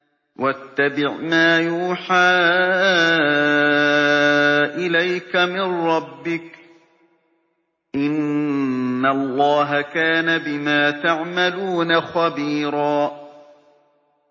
وَاتَّبِعْ مَا يُوحَىٰ إِلَيْكَ مِن رَّبِّكَ ۚ إِنَّ اللَّهَ كَانَ بِمَا تَعْمَلُونَ خَبِيرًا